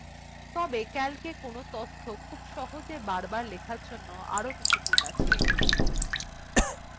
তবে calcএ কোনো তথ্য খুব সহজে বারবার লেখার জন্য আরো কিছু tools আছে